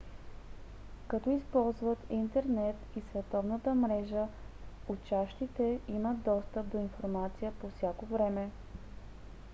като използват интернет и световната мрежа учащите имат достъп до информация по всяко време